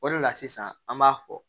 O de la sisan an b'a fɔ